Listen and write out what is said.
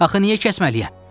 Axı niyə kəsməliyəm?